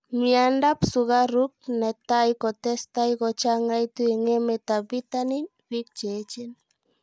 miando ap sugaruk natai kotesetai kochangaitu eng emet ap pitanin ,piik cheechen